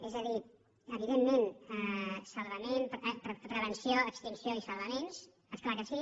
és a dir evidentment prevenció extinció i salvaments és clar que sí